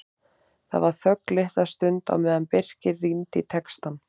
Það var þögn litla stund á meðan Birkir rýndi í textann.